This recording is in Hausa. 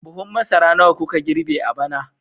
Buhun masara nawa kuka girbe a bana